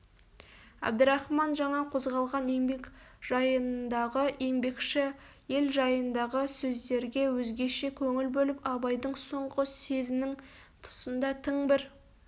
әбдірахман жаңа қозғалған еңбек жайындағы еңбекші ел жайындағы сөздерге өзгеше көңіл бөліп абайдың соңғы сезінің тұсында тың бір